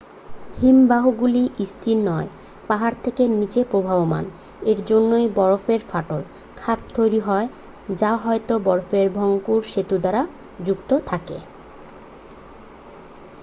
হিমবাহগুলি স্থির নয় পাহাড় থেকে নীচে প্রবহমান এর জন্যেই বরফে ফাটল খাত তৈরি হয় যা হয়ত বরফের ভঙ্গুর সেতু দ্বারা যুক্ত থাকে